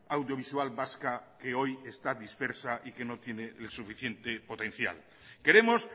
audiovisual vasca que hoy está dispersa y que no tiene el suficiente potencial queremos